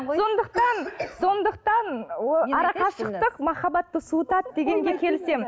сондықтан сондықтан арақашықтық махаббатты суытады дегенге келісемін